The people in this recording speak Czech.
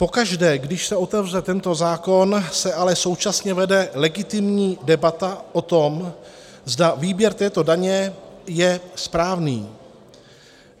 Pokaždé, když se otevře tento zákon, se ale současně vede legitimní debata o tom, zda výběr této daně je správný.